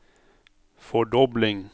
fordobling